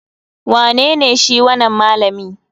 Wanene shi wanan malami?